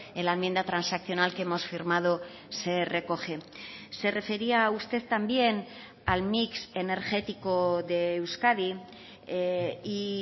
en la enmienda transaccional que hemos firmado se recoge se refería usted también al mix energético de euskadi y